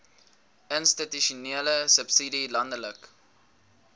institusionele subsidie landelike